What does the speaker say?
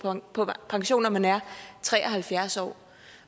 på pension når man er tre og halvfjerds år